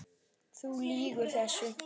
Þú lýgur þessu!